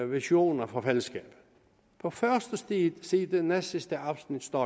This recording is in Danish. visioner for fællesskabet på første side i næstsidste afsnit står